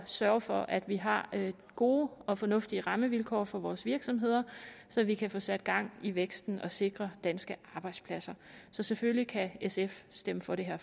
sørge for at vi har gode og fornuftige rammevilkår for vores virksomheder så vi kan få sat gang i væksten og sikre danske arbejdspladser så selvfølgelig kan sf stemme for det her